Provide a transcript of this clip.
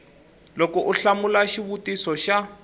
loko u hlamula xivutiso xa